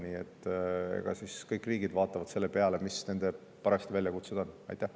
Nii et kõik riigid vaatavad seda, millised nende väljakutsed parajasti on.